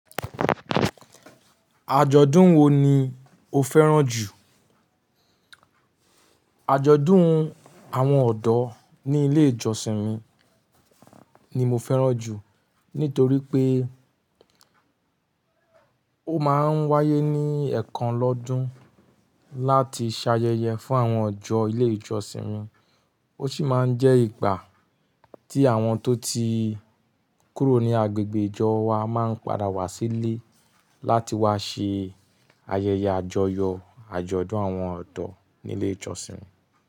Àjọ̀dún wo ni o fẹ́ràn jù? Àjọ̀dún àwọn ọ̀dọ́ ní ilé ìjọsìn mi ni mo fẹ́ràn jù. Nítorí pé ó máa ń wáyé ní ẹ̀ẹ̀kan lọ́dún láti ṣàyẹyẹ fún àwọn ọjọ́ ilé ìjọsìn mi. Ó sì máa ń jẹ́ ìgbà tí àwọn tó ti kúrò ní agbègbè ìjọ wa máa ń padà wá sí ilé láti wá ṣe ayẹyẹ àjọyọ̀ àjọ̀dún àwọn ọ̀dọ́ ní ilé ìjọsìn mi.